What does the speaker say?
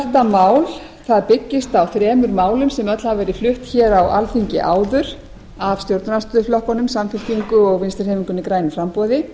þetta mál byggist á þremur málum sem öll hafa verið flutt á alþingi áður af stjórnarandstöðuflokkunum samfylkingu og vinstri hreyfingunni grænu framboði